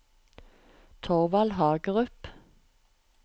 Torvald Hagerup